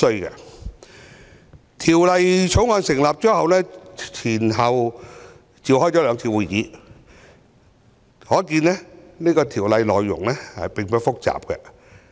法案委員會成立後，前後召開了兩次會議，可見《條例草案》的內容並不複雜。